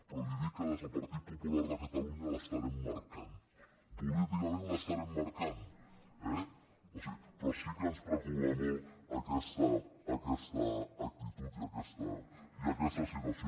però li dic que des del partit popular de catalunya l’estarem marcant políticament l’estarem marcant eh però sí que ens preocupa molt aquesta actitud i aquesta situació